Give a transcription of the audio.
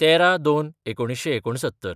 १३/०२/१९६९